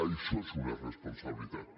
això és una irresponsabilitat